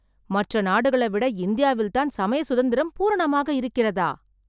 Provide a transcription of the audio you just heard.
மற்ற நாடுகளைவிட இந்தியாவில்தான் சமய சுதந்திரம் பூரணமாக இருக்கிறதா...